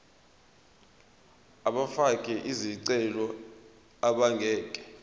abafake izicelo abangeke